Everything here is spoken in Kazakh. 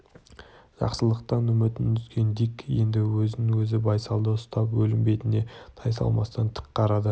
жақсылықтан үмітін үзген дик енді өзін өзі байсалды ұстап өлім бетіне тайсалмастан тік қарады